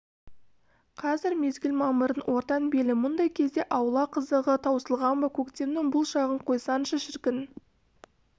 қазір мезгіл мамырдың ортан белі мұндай кезде аула қызығы таусылған ба көктемнің бұл шағын қойсаңшы шіркін